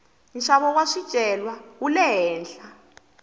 nxavo wa swicelwa wule henhla